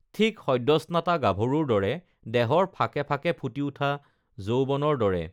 ঠিক সদ্যস্নাতা গাভৰুৰ দৰে দেহৰ ফাকেঁ ফাকেঁ ফুটি উঠা যৌৱনৰ দৰে